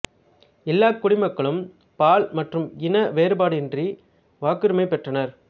எல்லாக் குடிமக்களும் பால் மற்றும் இன வேறுபாடின்றி வாக்குரிமை பெற்றனர்